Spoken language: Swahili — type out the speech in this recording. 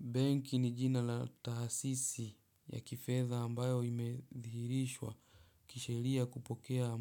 Benki ni jina la tahasisi ya kifedha ambayo imedhirishwa kishelia kupokea